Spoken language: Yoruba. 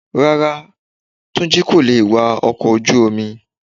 Rárá, Túnjí ko lè wa ọkọ̀ ojú omi.